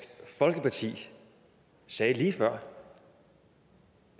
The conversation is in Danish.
folkeparti sagde lige før